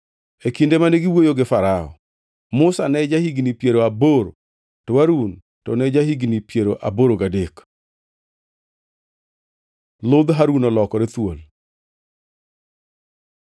E kinde mane giwuoyo gi Farao, Musa ne ja-higni piero aboro to Harun to ne ja-higni piero aboro gadek. Ludh Harun olokore thuol